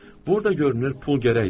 Burda görünür pul gərəkdir.